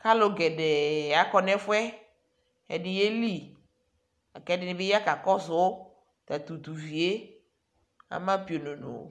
kalugɛdɛɛ ɔkɔ nɛfuɛ ɛdi yeli lakɛdibi kakɔsu tatutuu vie, ama piononoo